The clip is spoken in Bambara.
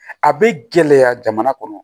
A bɛ gɛlɛya jamana kɔnɔ